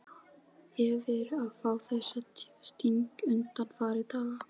Hef verið að fá þessa stingi undanfarna daga.